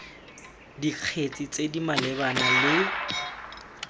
dikgetse tse di malebana le